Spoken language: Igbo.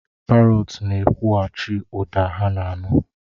Parọts na-ekwughachi ụda ha na-anụ.